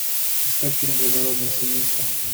искать фильм благородное семейство